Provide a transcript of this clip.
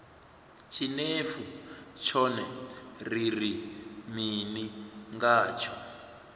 tshinefu tshone ri ri mini ngatsho